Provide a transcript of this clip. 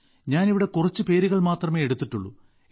ഞാൻ ഇവിടെ കുറച്ചു പേരുകൾ മാത്രമേ എടുത്തിട്ടുള്ളൂ